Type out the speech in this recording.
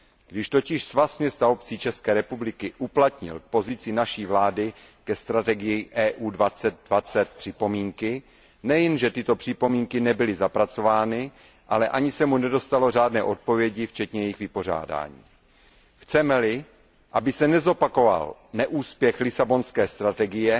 Když totiž Svaz měst a obcí České republiky uplatnil k pozici naší vlády ke strategii EU 2020 připomínky, nejen že tyto připomínky nebyly zapracovány, ale ani se mu nedostalo řádné odpovědi včetně jejich vypořádání. Chceme li, aby se nezopakoval neúspěch Lisabonské strategie,